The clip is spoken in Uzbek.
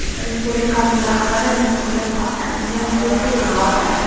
Respublikamiz rahbari meni kuzatmoqda, menga muxlislik qilmoqda.